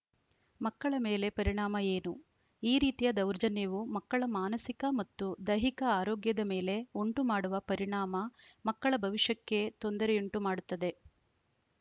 ಮಕ್ಕಳ ಮೇಲೆ ಪರಿಣಾಮ ಏನು ಈ ರೀತಿಯ ದೌರ್ಜನ್ಯವು ಮಕ್ಕಳ ಮಾನಸಿಕ ಮತ್ತು ದೈಹಿಕ ಆರೋಗ್ಯದ ಮೇಲೆ ಉಂಟುಮಾಡುವ ಪರಿಣಾಮ ಮಕ್ಕಳ ಭವಿಷ್ಯಕ್ಕೇ ತೊಂದರೆಯುಂಟುಮಾಡುತ್ತದೆ